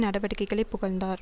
நடவடிக்கைகளை புகழ்ந்தார்